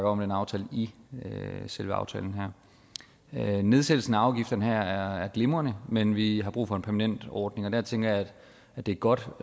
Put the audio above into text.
om den aftale i selve aftalen her nedsættelsen af afgifterne her er glimrende men vi har brug for en permanent ordning og der tænker jeg at det er godt